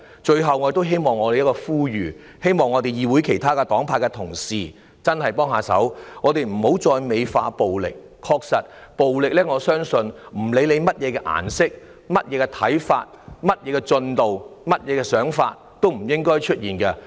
最後，我作出呼籲，希望議會內其他黨派的同事真的要幫幫忙，不要再美化暴力，不論大家屬於甚麼顏色、有何看法、事態進展為何，暴力也不應出現。